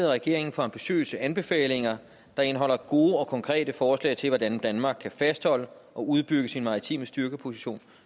regeringen for ambitiøse anbefalinger der indeholder gode og konkrete forslag til hvordan danmark kan fastholde og udbygge sin maritime styrkeposition